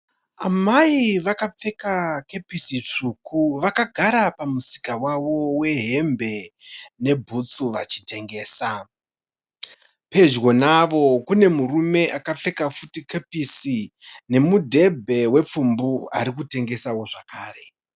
Amai vakapfeka kepisi tsvuku vakagara pamusika wavo wehembe nebhutsu vachitengesa. Pedyo navo kune murume akapfeka futi kepisi nemudhebhe wepfumbu ari kutengesawo zvakare.